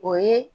O ye